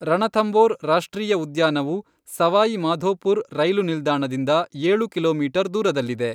ರಣಥಂಭೋರ್ ರಾಷ್ಟ್ರೀಯ ಉದ್ಯಾನವು ಸವಾಯಿ ಮಾಧೋಪುರ್ ರೈಲು ನಿಲ್ದಾಣದಿಂದ ಏಳು ಕಿಲೋಮೀಟರ್ ದೂರದಲ್ಲಿದೆ.